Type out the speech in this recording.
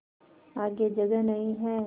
आगे जगह नहीं हैं